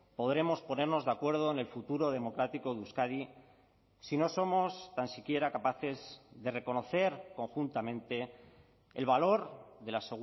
podremos ponernos de acuerdo en el futuro democrático de euskadi si no somos tan siquiera capaces de reconocer conjuntamente el valor de la